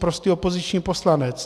Prostý opoziční poslanec.